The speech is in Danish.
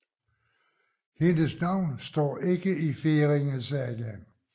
Hendes navn står ikke i Færingesagaen